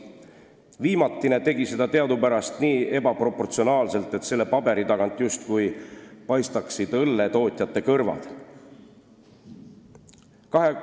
Viimatine tegi seda teadupärast nii ebaproportsionaalselt, et selle paberi tagant oleksid justkui paistnud õlletootjate kõrvad.